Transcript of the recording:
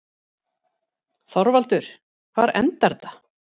ÞORVALDUR: Hvar endar þetta?